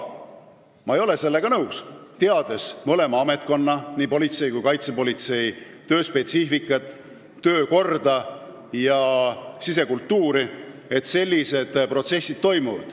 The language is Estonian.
Mina ei ole sellega nõus, teades mõlema ametkonna – nii politsei kui kaitsepolitsei – töö spetsiifikat, töökorda ja sisekultuuri, et seal sellised protsessid toimuvad.